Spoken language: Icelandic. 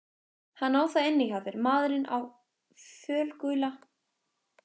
Hann á það inni hjá þér maðurinn á fölgula náttsloppnum.